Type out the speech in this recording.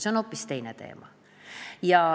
See on hoopis teine teema.